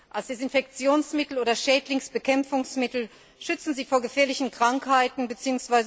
Als Desinfektionsmittel oder Schädlingsbekämpfungsmittel schützen sie vor gefährlichen Krankheiten bzw.